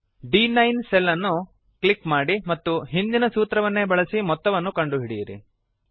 ದ್9 cell ಅನ್ನು click ಮಾಡಿ ಮತ್ತು ಹಿಂದಿನ ಸೂತ್ರವನ್ನೇ ಬಳಸಿ ಮೊತ್ತವನ್ನು ಕಂಡು ಹಿಡಿಯಿರಿ